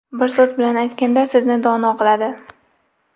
Bir so‘z bilan aytganda, sizni dono qiladi.